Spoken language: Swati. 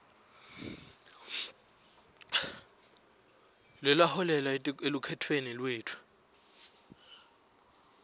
student financial aid